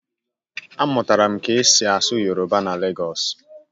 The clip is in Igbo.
Amụtara m ka esi asụ Yoruba na Legosu